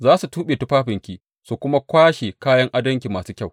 Za su tuɓe tufafinki su kuma kwashe kayan adonki masu kyau.